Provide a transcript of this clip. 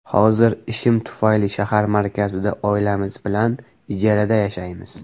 Hozir ishim tufayli shahar markazida oilamiz bilan ijarada yashaymiz.